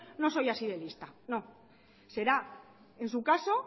no soy así de lista no será en su caso